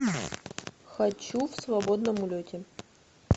хочу в свободном улете